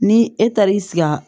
Ni e taara i siga